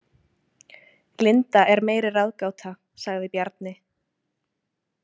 Linda er meiri ráðgáta, sagði Bjarni.